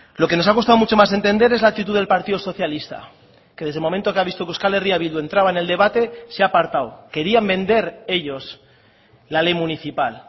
lo que nos ha costado mucho más entender es la actitud del partido socialista que desde el momento que ha visto que euskal herria bildu entraba en el debate se ha apartado querían vender ellos la ley municipal